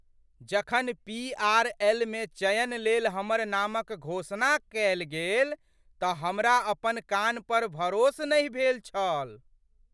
जखन पी.आर.एल.मे चयन लेल हमर नामक घोषणा कएल गेल तऽ हमरा अपन कान पर भरोस नहि भेल छल!